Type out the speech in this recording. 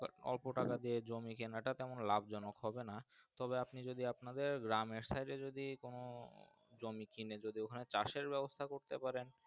অল্প তাকে দিয়ে জমি কিনা টা তেমন লাভ জনক হবে না তবে আপনি যদি আপনাদের গ্রাম এর সাইডে কোনো জমি কিনে যদি ওখানে চাষএর ব্যাবস্তা করতে পারেন।